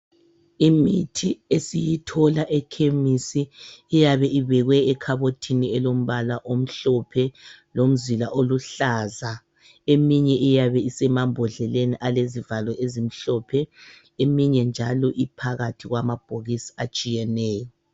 Imithi esiyithola ekhemisi iyabe ibekwe ekhabothini elombala omhlophe lomzila oluhlaza. Eminye iyabe isemambodleleni elezivalo ezimhlophe, eminye njalo iphakathi kwamabhokisi atshiyeneyo.